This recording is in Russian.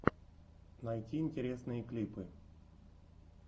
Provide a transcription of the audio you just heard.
найти интересные клипы